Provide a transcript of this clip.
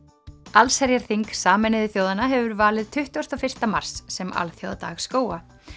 allsherjarþing Sameinuðu þjóðanna hefur valið tuttugasta og fyrsta mars sem alþjóðadag skóga